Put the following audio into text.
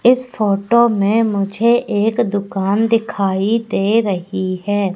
इस फोटो में मुझे एक दुकान दिखाई दे रही है।